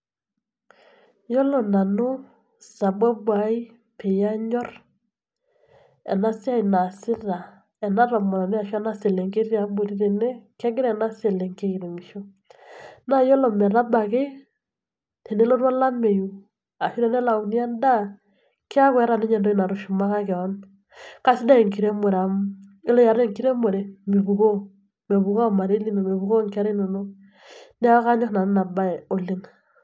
Iyiolo nanu sababu aai peyie anyor eena siai naasita eena tomononi arashu ena selenkei teene, kegira eena selenkei airemisho naa iyiolo metabaiki, tenelotu olameu, arashu tenelauni en'daa, kiaku eeta ninye entoki natushumaka keon. Kasidai enkiremore amuu oore iata enkiremore, mipukuoo mekuu ormarei liino mepukuoo inkera inonok. Niaku kanyor nanu iina baye oleng.